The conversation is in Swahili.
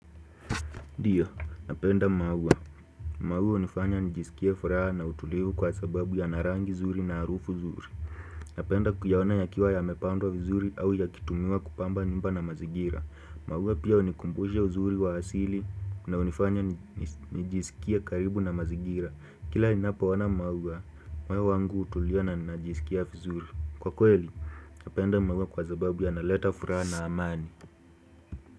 Ndiyo, napenda maua, maua unifanya nijisikie furaha na utulivu kwa sababu yana rangi zuri na arufu zuri Napenda kuyaona yakiwa yamepandwa vizuri au yakitumiwa kupamba nyumba na mazingira maua pia hunikumbusha uzuri wa asili na unifanya nijisikie karibu na mazigira Kila ninapoona maua, moyo wangu hutulia na najisikia vizuri Kwa kweli, napenda maua kwa sababu yanaleta furaha na amani.